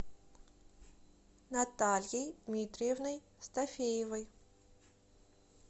натальей дмитриевной стафеевой